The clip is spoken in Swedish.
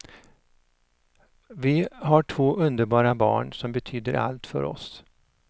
Vi har två underbara barn, som betyder allt för oss.